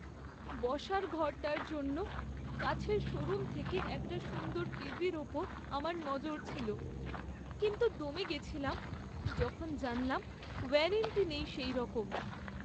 বসার ঘরটার জন্য কাছের শোরুম থেকে একটা সুন্দর টিভির ওপর আমার নজর ছিল, কিন্তু দমে গেছিলাম যখন জানলাম ওয়ারেন্টি নেই সেইরকম।